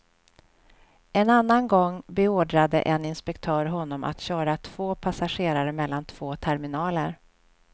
En annan gång berordrade en inspektör honom att köra två passagerare mellan två terminaler.